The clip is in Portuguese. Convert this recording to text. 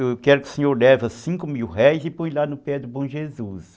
eu quero que o senhor leva cinco mil réis e põe lá no pé do bom Jesus.